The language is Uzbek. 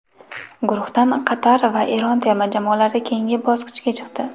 Guruhdan Qatar va Eron terma jamoalari keyingi bosqichga chiqdi.